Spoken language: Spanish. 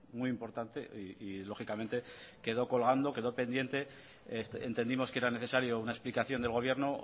muy importante y lógicamente quedó colgando quedó pendiente entendimos que era necesario una explicación del gobierno